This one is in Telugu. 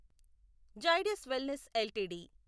Zydus wellness LTD